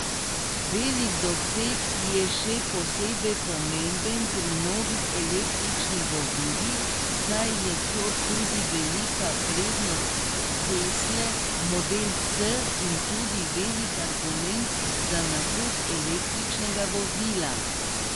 Velik doseg je še posebej pomemben pri novih električnih vozilih, saj je to tudi velika prednost tesle model S in tudi velik argument za nakup električnega vozila.